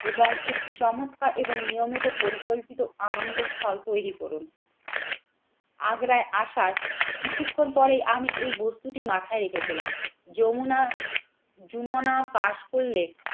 এবং একটি চমৎকার এবং নিয়মিত পরিকল্পিত আনন্দস্থল তৈরি করুন। আগ্রায় আসার কিছুক্ষণ পরেই আমি এই বস্তুটি মাথায় রেখেছিলাম যমুনা যুমনা পাস করলে